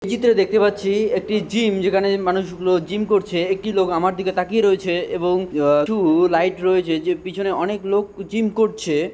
এই চিত্রে দেখতে পাচ্ছি একটি জিম যেখানে মানুষগুলো জিম করছে একটি লোক আমার দিকে তাকিয়ে রয়েছে এবং আ-টু- লাইট রয়েছে যে পিছনে অনেক লোক জিম করছে।